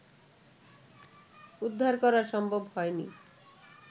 উদ্ধার করা সম্ভব হয়নি